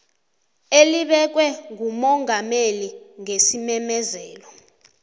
elibekwe ngumongameli ngesimemezelo